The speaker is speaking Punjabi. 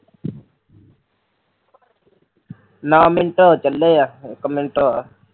ਨੋ ਮਿੰਟ ਹੋ ਚੱਲੇ ਐ ਇੱਕ ਮਿੰਟ ਹੋਰ